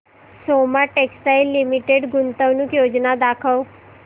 Soma textile limited गुंतवणूक योजना दाखव